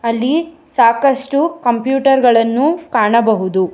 ಅಲ್ಲಿ ಸಾಕಷ್ಟು ಕಂಪ್ಯೂಟರ್ ಗಳನ್ನು ಕಾಣಬಹುದು.